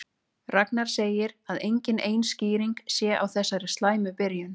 Ragnar segir að engin ein skýring sé á þessari slæmu byrjun.